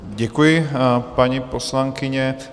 Děkuji, paní poslankyně.